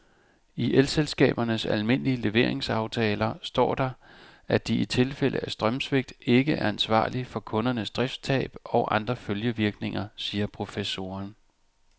I elselskabernes almindelige leveringsaftaler står der, at de i tilfælde af strømsvigt ikke er ansvarlig for kundernes driftstab og andre følgevirkninger, siger professoren.